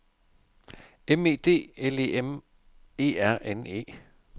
M E D L E M E R N E